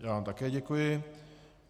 Já vám také děkuji.